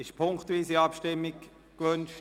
Ist eine punktweise Abstimmung gewünscht?